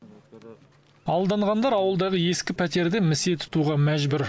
алданғандар ауылдағы ескі пәтерді місе тұтуға мәжбүр